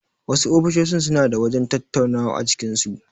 Wasu ofisoshin suna da wajen tattaunawa a cikin su.